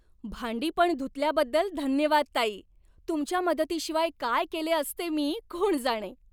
भांडी पण धुतल्याबद्दल धन्यवाद, ताई. तुमच्या मदतीशिवाय काय केले असते मी कोण जाणे.